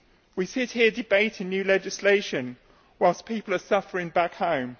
We see it here debating new legislation whilst people are suffering back home.